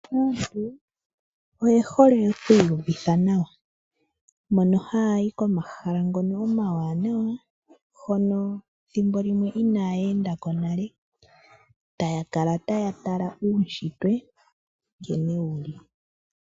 Aantu oye hole oku iyuvitha nawa, mono haya yi komahala ngono omawanawa, hono thimbo limwe inaaya endako nale, taya kala taya tala uushitwe nkene wuli.